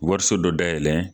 Wariso dɔ dayɛlɛ